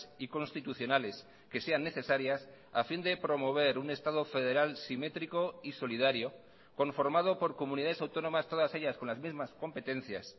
y constitucionales que sean necesarias a fin de promover un estado federal simétrico y solidario conformado por comunidades autónomas todas ellas con las mismas competencias